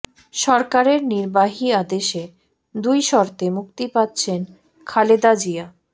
সরকারের নির্বাহী আদেশে দুই শর্তে মুক্তি পাচ্ছেন খালেদা জিয়া